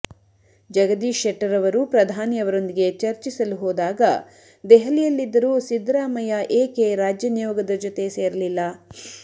ಜಗದೀಶ್ ಶೆಟ್ಟರ್ ಅವರು ಪ್ರಧಾನಿ ಅವರೊಂದಿಗೆ ಚರ್ಚಿಸಲು ಹೋದಾಗ ದೆಹಲಿಯಲ್ಲಿದ್ದರೂ ಸಿದ್ದರಾಮಯ್ಯ ಏಕೆ ರಾಜ್ಯ ನಿಯೋಗದ ಜೊತೆ ಸೇರಲಿಲ್ಲ